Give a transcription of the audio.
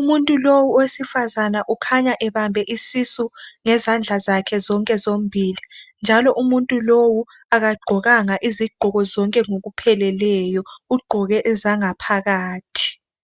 Umuntu lowu owesifazana ukhanya ebambe isisu ngezandla zakhe zonke zombili. Njalo umuntu lowu akagqokanga izigqoko zonke ngokupheleleyo . Ugqoke ezangaphakathi.